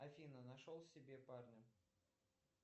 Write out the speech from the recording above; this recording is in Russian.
афина нашел себе парня